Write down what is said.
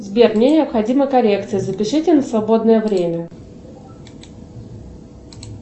сбер мне необходима коррекция запишите на свободное время